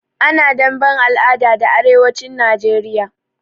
Ana damben al'ada da arewacin Najeriya.